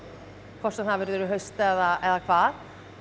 hvort sem það verður í haust eða hvað